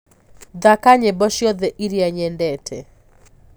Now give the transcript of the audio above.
thaka nyĩmbo cĩothe ĩrĩa nyendete